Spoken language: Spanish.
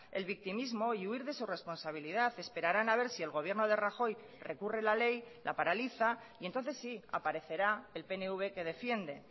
el victimismo y huir de su responsabilidad esperaran a ver si el gobierno de rajoy recurre la ley la paraliza y entonces sí aparecerá el pnv que defiende